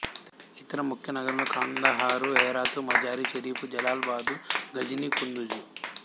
ఇతర ముఖ్య నగరాలు కాందహారు హేరాతు మజారి షరీఫు జలాలాబాదు ఘజని కుందుజు